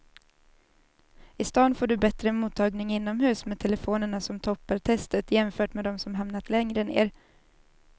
I stan får du bättre mottagning inomhus med telefonerna som toppar testet jämfört med de som hamnat längre ner.